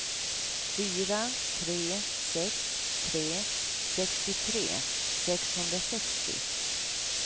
fyra tre sex tre sextiotre sexhundrasextio